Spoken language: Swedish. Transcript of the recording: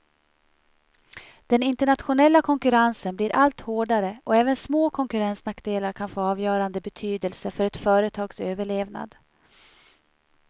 Den internationella konkurrensen blir allt hårdare och även små konkurrensnackdelar kan få avgörande betydelse för ett företags överlevnad.